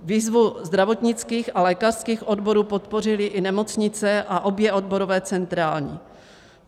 Výzvu zdravotnických a lékařských odborů podpořily i nemocnice a obě odborové centrály.